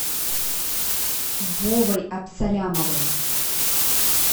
вовой абсалямовым